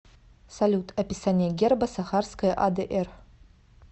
салют описание герба сахарская адр